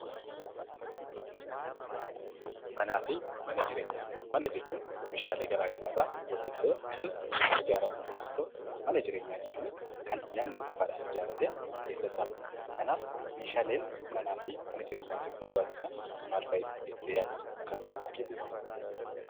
Manaa fi mana jireenyaa . Mana jechuun meeshaalee garaa garaarraa walitti dhufee kan ijaaramu yemmuu ta'u mana jireenyaa jechuunis kan namni dhuunfaadhan ijaarratee keessa taa'udha. Kanaaf meeshaaleen manaa fi mana jireenyaatiif barbaachisan maal fa'i jettee yaadda akka dhuunfaa keetitti?